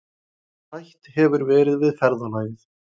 Hætt hefur verið við ferðalagið